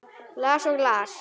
Las og las.